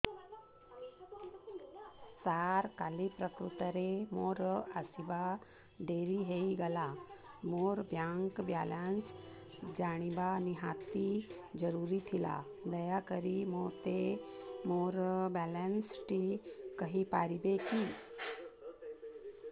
ସାର କାଲି ପ୍ରକୃତରେ ମୋର ଆସିବା ଡେରି ହେଇଗଲା ମୋର ବ୍ୟାଙ୍କ ବାଲାନ୍ସ ଜାଣିବା ନିହାତି ଜରୁରୀ ଥିଲା ଦୟାକରି ମୋତେ ମୋର ବାଲାନ୍ସ ଟି କହିପାରିବେକି